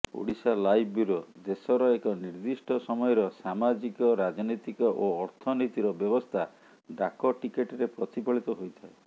Odisha live bureau ଦେଶର ଏକ ନିର୍ଦ୍ଦିଷ୍ଟ ସମୟର ସାମାଜିକ ରାଜନୀତିକ ଓ ଅର୍ଥନୀତିର ବ୍ୟବସ୍ଥା ଡାକଟିକେଟରେ ପ୍ରତିଫଳିତ ହୋଇଥାଏ